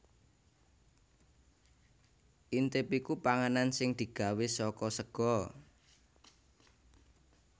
Intip iku panganan sing digawé saka sega